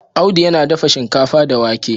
Audu yana dafa shinkafa da wake